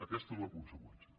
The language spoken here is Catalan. aquesta és la conseqüència